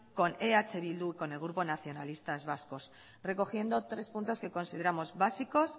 con eh bildu y con el grupo nacionalistas vascos recogiendo tres puntos que consideramos básicos